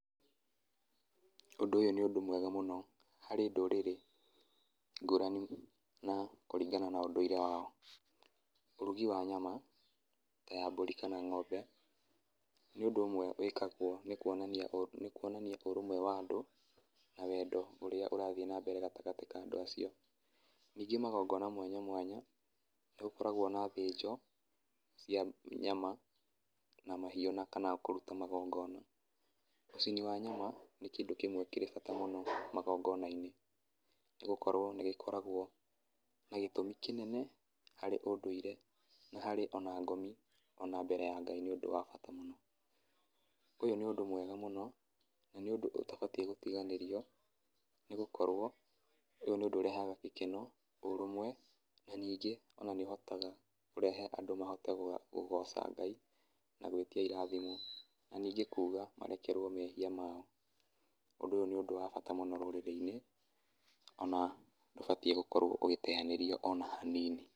Ũndũ ũyũ nĩ ũndũ mwega mũno harĩ ndũrĩrĩ ngũrani, na kũringana na ũndũire wao, ũrugi wa nyama ta ya mbũri kana ng'ombe, nĩ ũndũ ũmwe wĩkagwo nĩ kuonania ũ nĩ kuonania ũrũmwe wa andũ, na wendo ũrĩa ũrathiĩ na mbere gatagatĩ ka andũ acio, ningĩ magongona mwanya mwanya, nĩ gũkoragwo na thĩnjo, cia nyama, na mahiũ, na kana kũruta magongona, ũcini wa nyama nĩ kĩndũ kĩmwe kĩrĩ bata mũno magongona-inĩ, nĩ gũkorwo nĩ gĩkoragwo na gĩtũmi kĩnene harĩ ũndũire, nĩ harĩ ona ngomi ona mbere ya Ngai nĩ ũndũ wa bata mũno, ũyũ nĩ ũndũ mwega mũno, na nĩũndũ ũtabatiĩ gũtiganĩrio, nĩ gũkorwo ũyũ nĩ ũndũ ũrehaga gĩkeno, ũrũmwe, na ningĩ ona nĩ ũhotaga kũrehe andũ mahote kũgoca Ngai, na gwĩtia irathimo, na ningĩ kuga marekerwo mehia mao, ũndũ ũyũ nĩ ũndũ wa bata mũno rũrĩrĩ-inĩ, ona ndũbatiĩ gũkorwo ũgĩteyanĩrio ona hanini.